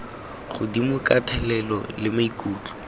godimo ka thelelo le maikutlo